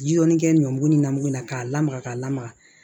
Ji dɔɔni kɛ ɲɔ bugu ni namugula k'a lamaga k'a lamaga